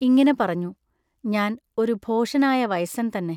ഇങ്ങിനെ പറഞ്ഞു. ഞാൻ ഒരു ഭോഷനായ വയസ്സൻ തന്നെ.